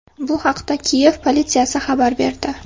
Bu haqda Kiyev politsiyasi xabar berdi .